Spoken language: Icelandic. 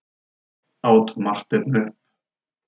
át Marteinn upp.